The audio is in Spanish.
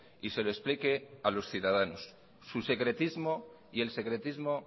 y se lo explique a los ciudadanos su secretismo y el secretismo